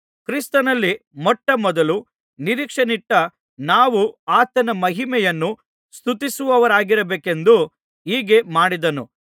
ಕ್ರಿಸ್ತನಲ್ಲಿ ಮೊಟ್ಟ ಮೊದಲು ನಿರೀಕ್ಷೆಯನ್ನಿಟ್ಟ ನಾವು ಆತನ ಮಹಿಮೆಯನ್ನು ಸ್ತುತಿಸುವವರಾಗಿರಬೇಕೆಂದು ಹೀಗೆ ಮಾಡಿದನು